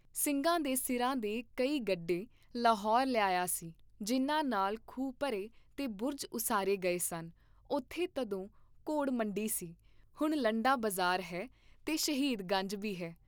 ਸਿੰਘਾਂ ਦੇ ਸਿਰਾਂ ਦੇ ਕਈ ਗੱਡੇ ਲਾਹੌਰ ਲਿਆਇਆ ਸੀ, ਜਿਨ੍ਹਾਂ ਨਾਲ ਖੂਹ ਭਰੇ ਤੇ ਬੁਰਜ ਉਸਾਰੇ ਗਏ ਸਨ ਉਥੇ ਤਦੋਂ ਘੋੜ ਮੰਡੀ ਸੀ, ਹੁਣ ਲੰਡਾ ਬਜ਼ਾਰ ਹੈ ਤੇ ਸ਼ਹੀਦ ਗੰਜ ਬੀ ਹੈ।